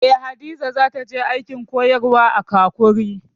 Eh, Hadiza za ta je aikin koyarwa a Kakuri